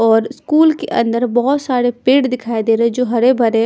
और स्कूल के अंदर बहोत सारे पेड़ दिखाई दे रहे हैं जो हरे भरे--